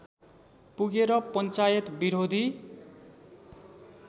पुगेर पञ्चायत विरोधी